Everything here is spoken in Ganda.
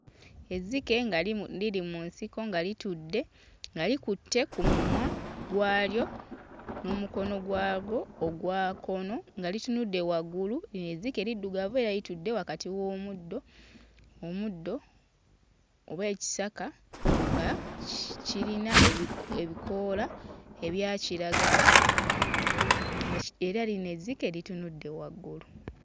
Ezzike nga limu liri mu nsiko nga litudde nga likutte ku mumwa gwalyo n'omukono gwagwo ogwa kkono nga litunudde waggulu, lino ezzike liddugavu era litudde wakati w'omuddo, omuddo oba ekisaka nga kirina ebi ebikoola ebya kiragala mush era lino ezzike litunudde waggulu